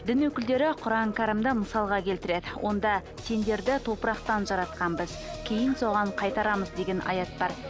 дін өкілдері құран кәрімді мысалға келтіреді онда сендерді топырақтан жаратқанбыз кейін соған қайтарамыз деген аят бар